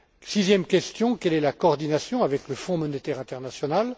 Sixième question quelle est la coordination avec le Fonds monétaire international?